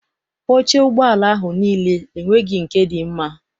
Oche ụgbọala ahụ niile enweghị nke dị mma.